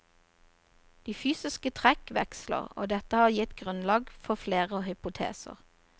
De fysiske trekk veksler, og dette har gitt grunnlag for flere hypoteser.